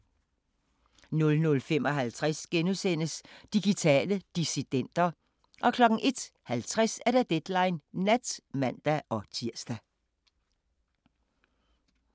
00:55: Digitale dissidenter * 01:50: Deadline Nat (man-tir)